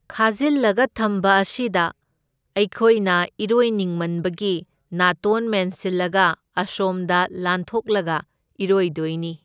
ꯈꯥꯖꯤꯜꯂꯒ ꯊꯝꯕ ꯑꯁꯤꯗ ꯑꯩꯈꯣꯏꯅ ꯏꯔꯣꯏꯅꯤꯡꯃꯟꯕꯒꯤ ꯅꯥꯇꯣꯟ ꯃꯦꯟꯁꯤꯜꯂꯒ ꯑꯁꯣꯝꯗ ꯂꯥꯟꯊꯣꯛꯂꯒ ꯏꯔꯣꯏꯗꯣꯏꯅꯤ꯫